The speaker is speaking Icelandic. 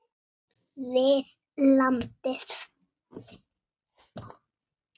við landið.